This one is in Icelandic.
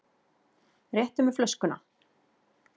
Réttu mér flöskuna.